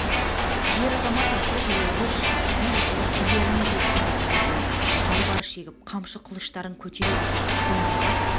ер-азамат атты-жаяулы түгел ұлық үйлеріне жетсін деді айғайлап айбар шегіп қамшы қылыштарын көтере түсіп доң айбат